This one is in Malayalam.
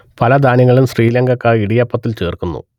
പല ധാന്യങ്ങളും ശ്രീലങ്കക്കാർ ഇടിയപ്പത്തിൽ ചേർക്കുന്നു